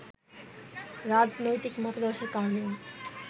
রাজনৈতিক মতাদর্শের কারণেও